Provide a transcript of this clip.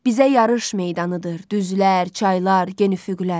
Bizə yarış meydanıdır düzlər, çaylar, gen üfüqlər.